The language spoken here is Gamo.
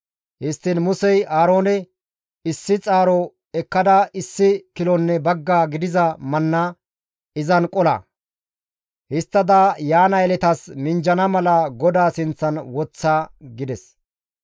Histtiin Musey Aaroone, «Issi xaaro ekkada issi kilonne bagga gidiza manna izan qola; histtada yaana yeletatas minjjana mala GODAA sinththan woththa» gides.